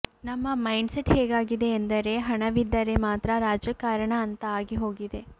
ನಮ್ಮ mindset ಹೇಗಾಗಿದೆ ಎಂದರೆ ಹಣವಿದ್ದರೆ ಮಾತ್ರಾ ರಾಜಕಾರಣ ಅಂತಾ ಆಗಿ ಹೋಗಿದೆ